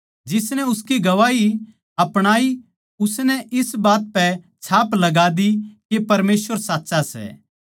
जिसनै उसकी गवाही अपणाई उसनै इस बात पै छाप लगा दी के परमेसवर साच्चा सै